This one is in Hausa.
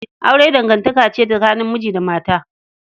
Aure dangantaka ce tsakanin miji da mata.